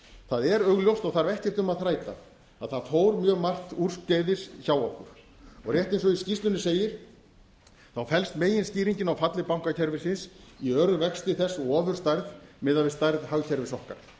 það er augljóst og þarf ekkert um að þræta að það fór mjög margt úrskeiðis hjá okkur og rétt eins og í skýrslunni segir þá felst meginskýringin á falli bankakerfisins í örum vexti þess og ofurstærð miðað við stærð hagkerfis okkar